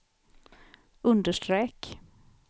understreck